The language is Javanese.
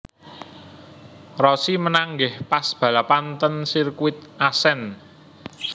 Rossi menang nggih pas balapan ten sirkuit Assen